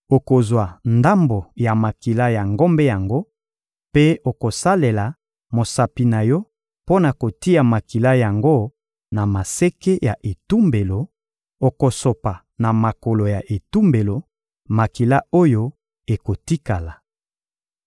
Okozwa ndambo ya makila ya ngombe yango, mpe okosalela mosapi na yo mpo na kotia makila yango na maseke ya etumbelo; okosopa na makolo ya etumbelo makila oyo ekotikala.